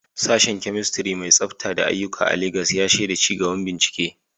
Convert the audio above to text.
Sashen Chemistry mai tsafta da aiyuka a Legas ya shaida ci gaban bincike.